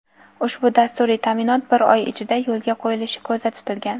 ushbu dasturiy ta’minot bir oy ichida yo‘lga qo‘yilishi ko‘zda tutilgan.